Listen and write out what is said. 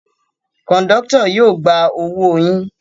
Kọ̀ńdọ́tọ̀ yóò gba owó yín.